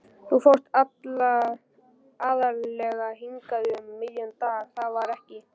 Þú fórst aðallega hingað um miðjan dag, var það ekki?